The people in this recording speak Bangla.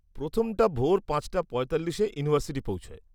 প্রথমটা ভোর পাঁচটা পঁয়তাল্লিশে ইউনিভার্সিটি পৌঁছোয়।